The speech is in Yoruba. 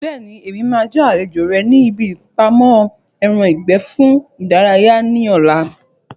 Bẹ́ẹ̀ni, mo máa jẹ́ àlejò rẹ ní ibi ìpamọ́ ẹran ìgbẹ́ fún ìdárayá ní ọ̀la